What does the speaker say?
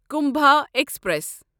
Kumbha express